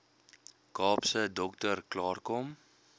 kaapse dokter klaarkom